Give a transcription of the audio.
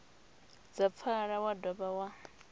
dza pfala wa dovha wa